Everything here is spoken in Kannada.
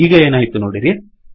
ಈಗ ಏನಾಯಿತು ನೋಡಿರಿ